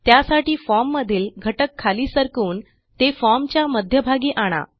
त्यासाठी फॉर्म मधील घटक खाली सरकवून ते formच्या मध्यभागी आणा